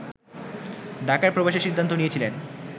ঢাকায় প্রবেশের সিদ্ধান্ত নিয়েছিলেন